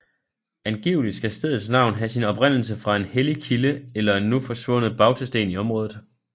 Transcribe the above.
Angiveligt skal stedets navn have sin oprindelse fra en hellig kilde eller en nu forsvundet bautasten i området